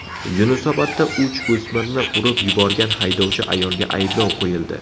Yunusobodda uch o‘smirni urib yuborgan haydovchi ayolga ayblov qo‘yildi.